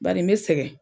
Bari n bɛ sɛgɛn